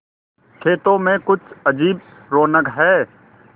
खेतों में कुछ अजीब रौनक है